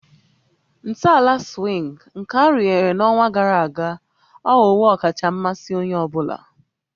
Ntọala swing nke arụnyere n'ọnwa gara aga aghọwo ọkacha mmasị onye ọ bụla